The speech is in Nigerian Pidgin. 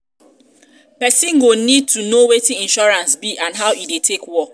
person go need to know wetin insurance be and how e take dey work